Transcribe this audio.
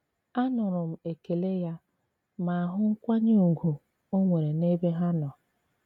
Anùrụ m ekèlè ya ma hụ nkwànyè ùgwù ò nwere n'ebe ha nọ.